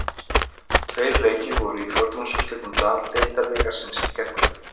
Tveir leikir voru í fjórðungsúrslitum Deildabikarsins í gærkvöld.